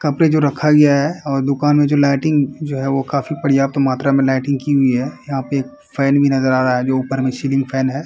कपड़े जो रखा गया है और दुकान में जो लाइटिंग जो है वो काफी पर्याप्त मात्रा मे लाइटिंग की हुई है। यहाँ पर एक फैन भी नजर आ रहा है जो ऊपर में सीलिंग फैन है।